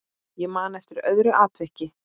Ég man eftir öðru atviki.